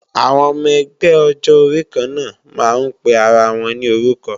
Àwọn ọmọ ẹgbẹ́ ọjọ orí kanna máa ń pe ara wọn ní orúkọ